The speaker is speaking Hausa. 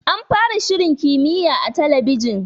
An fara shirin kimiyya a gidan talabijin.